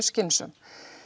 skynsöm